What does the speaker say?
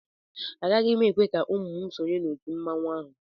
Agaghị m ekwe ka ụmụ m sonye n'òtù mmanwụ ahụ